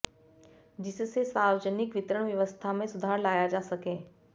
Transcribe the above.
जिससे सार्वजनिक वितरण व्यवस्था में सुधार लाया जा सके